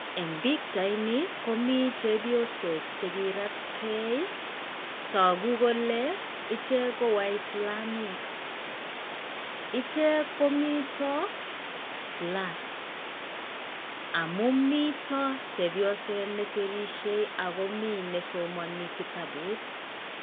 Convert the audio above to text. Eng' pikyaitni komii chepyosok chekiratgei togu kole ichek ko waislamiek ichek komito class. Amuu mito chepyoset nesirishei akomii nesomani kitabut.